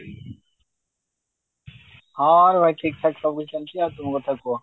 ହଁ ରେ ଭାଇ ଆଉ ଠିକଠାକ ସେମତି ଆଉ ତୁମ କଥା କୁହ